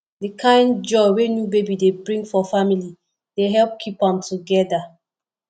di kind joy wey new baby dey bring for family dey help keep am together